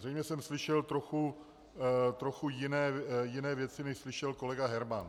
Zřejmě jsem slyšel trochu jiné věci, než slyšel kolega Herman.